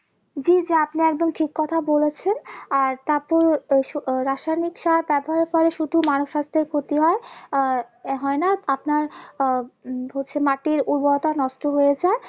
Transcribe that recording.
জি জি আপনি একদম ঠিক কথা বলেছেন আর তারপর আহ রাসায়নিক সার ব্যবহার করে শুধু মানুষ স্বাস্থ্যের ক্ষতি হয় আর হয় না আপনার আহ উম হচ্ছে মাটির উর্বরতা নষ্ট হয়ে যায়